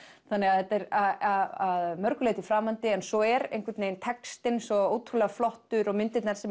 þetta er að mörgu leyti framandi en svo er einhvern veginn textinn svo ótrúlega flottur og myndirnar sem